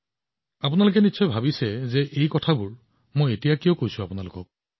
আপোনালোকে হয়তো ভাবি আছে যে মই এতিয়া আপোনালোকৰ সৈতে কিয় কথা পাতি আছো